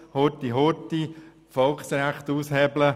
Man versucht, die Volksrechte auszuhebeln.